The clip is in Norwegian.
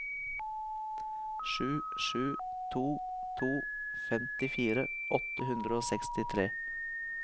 sju sju to to femtifire åtte hundre og sekstitre